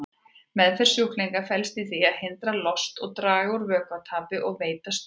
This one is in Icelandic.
Meðferð sjúklinga felst í því að hindra lost, draga úr vökvatapi og veita stuðning.